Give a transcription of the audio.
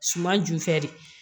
Suman ju fɛ de